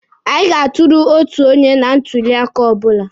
Anyị ga-atụrụ otu onye na ntuli aka ọbụla.